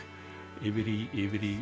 yfir í